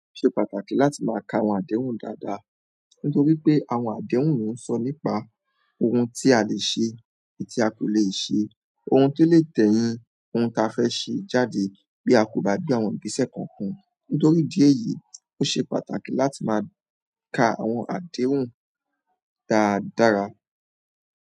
Ó ṣe pàtàkì láti máa ka àwọn àdéhùn dáadáa, nítorí pé àwọn àdéhùn ló ń sọ nípa ohun tí a lè ṣe àti ti a kò lè ṣe, ohun tó lè tẹ̀yìn ohun ta fẹ́ ṣe jáde bí a kò bá gbé àwọn ìgbésẹ̀ kọ̀ọ̀kan. Nítorí idi èyí, ó ṣe pàtàkì láti máa ka àwọn àdéhùn dáadáára.